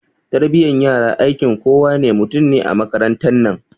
Tarbiyan yara aikin kowa ne mutum ne a makarantan nan